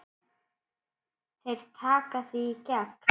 Þeir taka þig í gegn!